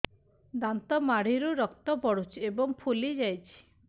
ଦାନ୍ତ ମାଢ଼ିରୁ ରକ୍ତ ପଡୁଛୁ ଏବଂ ଫୁଲି ଯାଇଛି